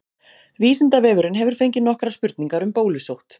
Vísindavefurinn hefur fengið nokkrar spurningar um bólusótt.